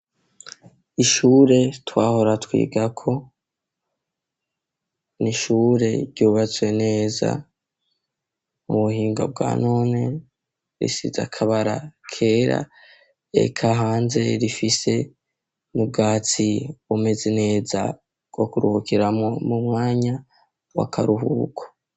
Ishure twahora twigako ni ishure ryubatswe neza mu buhinga bwa none risize akabara kera eka hanze rifise n'ubwatsi bumeze neza bwo kuruhukiramwo mu mwanya w'akaruhuko.